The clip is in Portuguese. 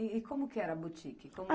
E como que era a boutique?